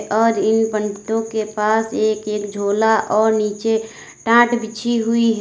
और इन पंडितों के पास एक एक झोला और नीचे टांट बिछी हुई है।